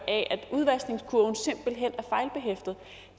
at udvaskningskurven simpelt hen